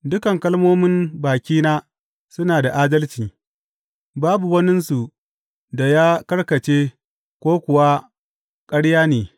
Dukan kalmomin bakina suna da adalci; babu waninsu da ya karkace ko kuwa ƙarya ne.